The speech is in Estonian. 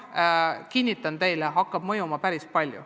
Jah, kinnitan teile, et see hakkab mõjuma ja päris tugevasti.